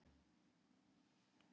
"""Nei, ekki er það nú."""